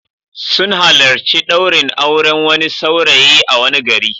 Sun halarci ɗaurin auren wani saurayi a wani gari.